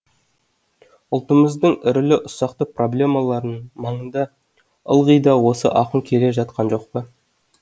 ұлтымыздың ірілі ұсақты проблемаларының маңында ылғи да осы ақын келе жатқан жоқ па